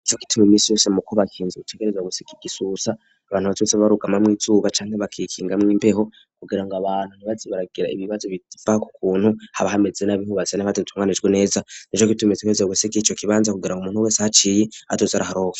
Nico gituma imisi yose mu ko bakinze gutegerezwa gusika igisusa abantu batumitse barugama mw'izuba canga bakikinga mw'imbeho kugira ngo abantu ntibaze baragira ibibazo biva kukuntu haba hameze N''abahubatse nifate ntunganijwe neza nico kitumetse kweze gusika ico kibanza kugera ngo umuntu wese haciye azoze araharonka